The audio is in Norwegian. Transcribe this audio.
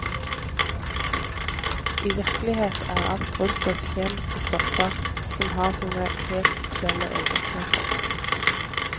I virkelighet er alt rundt oss kjemiske stoffer, som har sine helt spesielle egenskaper.